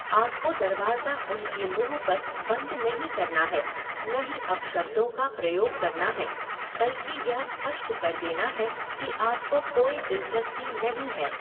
आपको दरवाज़ा उनके मुँह पर बंद नहीं करना है, न ही अपशब्दों का प्रयोग करना है, बल्कि यह स्पष्ट कर देना है कि आपको कोई दिलचस्पी नहीं है।